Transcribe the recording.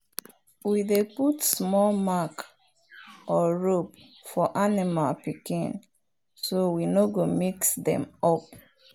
we dey put small mark or rope for animal pikin so we no go mix dem up.